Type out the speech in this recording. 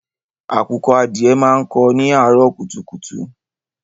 Àkùkọ adìẹ máa ń kó ni àárọ̀ kùtùkùtù.